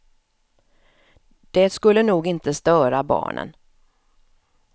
Det skulle nog inte störa barnen.